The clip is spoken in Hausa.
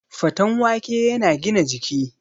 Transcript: Faten wake yana gina jiki